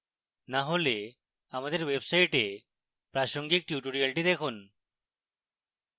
না হলে আমাদের website প্রাসঙ্গিক tutorials দেখুন